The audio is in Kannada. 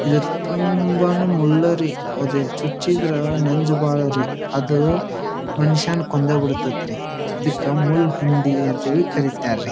ಇದರ್ ತುಂಬಾ ನೇ ಒಳ್ಳೇ ರೀ ಅದು ಚುಚ್ಚಿದ್ರೆ ನಂಜ್ ಬಹಳ ರೀ ಅದು ಮನುಷ್ಯನ ಕೊಂದೆ ಬಿಡ್ತತ್ತೆ ರೀ. ಇದಕ್ಕ ಮುಳ್ಳು ಹಂದಿ ಎಂದು ಕರಿತಾರೆ ರೀ.